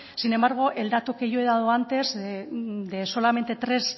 sin embargo el dato que yo he dado antes de solamente tres